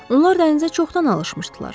Onlar dənizə çoxdan alışmışdılar.